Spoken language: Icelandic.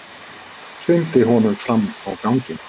Hrindi honum fram á ganginn.